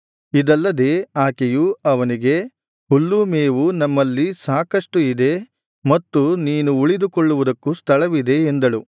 ಇದಲ್ಲದೆ ಆಕೆಯು ಅವನಿಗೆ ಹುಲ್ಲೂ ಮೇವೂ ನಮ್ಮಲ್ಲಿ ಸಾಕಷ್ಟು ಇದೆ ಮತ್ತು ನೀನು ಉಳಿದುಕೊಳ್ಳುವುದಕ್ಕೂ ಸ್ಥಳವಿದೆ ಎಂದಳು